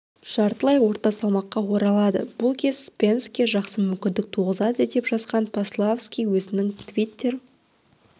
жартылай орта салмаққа оралады бұл кез спенске жақсы мүмкіндік туғызады деп жазған пославски өзінің твиттер